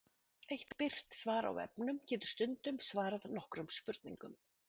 Eitt birt svar á vefnum getur stundum svarað nokkrum spurningum.